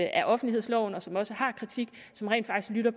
af offentlighedsloven og som også har kritik som rent faktisk lytter